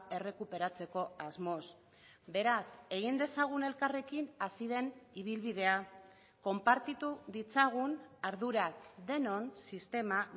errekuperatzeko asmoz beraz egin dezagun elkarrekin hasi den ibilbidea konpartitu ditzagun ardurak denon sistema